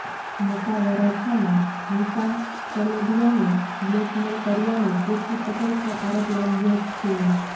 મોટા વરાછામાં નિશા ચલોડિયાને બ્લેકમેલ કર્યાનો કીર્તિ પટેલ પર આરોપ લાગ્યો છે